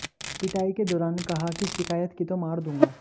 पिटाई के दौरान कहा कि शिकायत की तो मार दूंगा